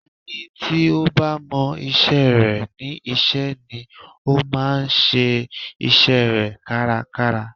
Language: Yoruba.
Ẹni tí ó bá mọ isẹ́ rẹ̀ ní iṣẹ́ ni ó máa ń ṣe isẹ́ rẹ̀ kárakára